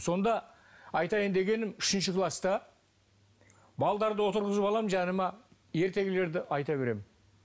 сонда айтайын дегенім үшінші класта балаларды отырғызып аламын жаныма ертегілерді айта беремін